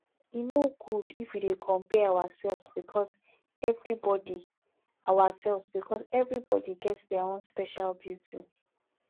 e no good if we dey compare ourselves because everybodi ourselves because everybodi get their own special beauty